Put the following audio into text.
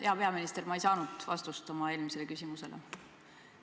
Hea peaminister, ma ei saanud vastust oma eelmisele küsimusele.